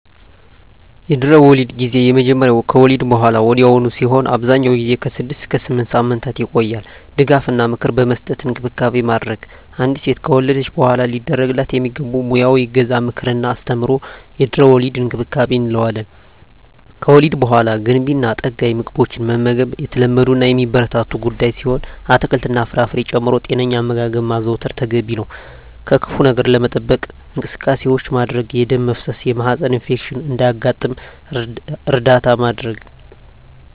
የድህረ-ወሊድ ጊዜ የሚጀምረው ከወሊድ በሃላ ወዲያውኑ ሲሆን አብዛኛውን ጊዜ ከ6 እስከ 8 ሳምንታት ይቆያል ድጋፍ እና ምክር በመስጠት እንክብካቤ ማድረግ። አንዲት ሴት ከወለደች በሃላ ሊደረግላት የሚገቡ ሙያዊ እገዛ ምክር እና አስተምሮ የድህረ-ወሊድ እንክብካቤ እንለዋለን። ከወሊድ በሃላ ገንቢ እና ጠጋኝ ምግቦችን መመገብ የተለመዱ እና የሚበረታቱ ጉዳይ ሲሆን አትክልት እና ፍራፍሬ ጨምሮ ጤነኛ አመጋገብ ማዘውተር ተገቢ ነው። ከክፋ ነገር ለመጠበቅ እንቅስቃሴዎች ማድረግ የደም መፍሰስ የማህፀን ኢንፌክሽን እንዳያጋጥም እርዳታ ማድረግ።